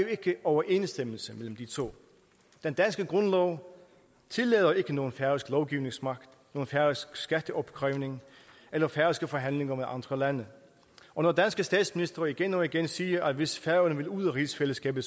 ikke overensstemmelse mellem de to den danske grundlov tillader ikke nogen færøsk lovgivningsmagt nogen færøsk skatteopkrævning eller færøske forhandlinger med andre lande og når danske statsministre igen og igen siger at hvis færøerne vil ud af rigsfællesskabet